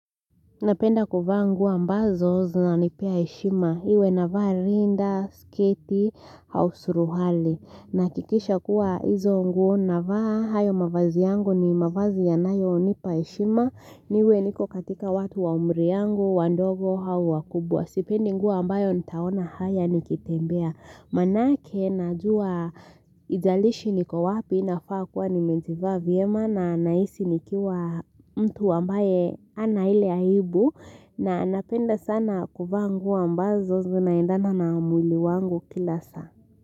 Napenda kuvaa nguo ambazo zinanipea heshima. Iwe navaa rinda, sketi, au suruali. Nahakikisha kuwa hizo nguo navaa hayo mavazi yangu ni mavazi yanayonipa heshima. Niwe niko katika watu wa umri yangu, wandogo, au wakubwa. Sipendi nguo ambayo nitaona haya nikitembea. Maanake najua haijalishi niko wapi nafaa kuwa nimejivaa vyema na nahisi nikiwa mtu ambaye hana ile aibu na napenda sana kuvaa nguo ambazo zinaendana na mwili wangu kila saa.